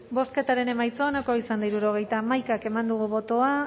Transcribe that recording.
bozketaren emaitza onako izan da hirurogeita hamaika eman dugu bozka